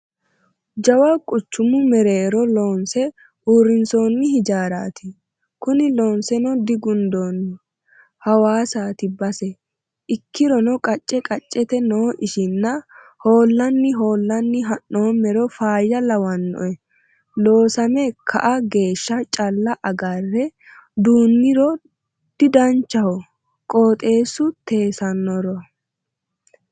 Jawa quchumu mereero loonse uurrinsonni hijaarati kuni loonseno digundonni hawaasati base ikkirono qacce qaccete no ishinna ho'lanni ho'lanni ha'noommero faayya lawanoe loosame ka"a geeshsha calla agare duuniro didanchaho qooxxeesu teessanora.